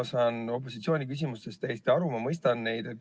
Ma saan opositsiooni küsimustest täiesti aru, ma mõistan neid.